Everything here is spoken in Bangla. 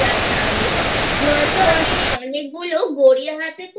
যাক তাহলে নয়তো আমি অনেকগুলো গড়িয়াহাট এ